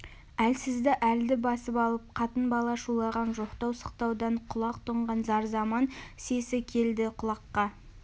әлсізді әлді басып алып қатын-бала шулаған жоқтау сықтаудан құлақ тұнған зарзаман сесі келді құлаққа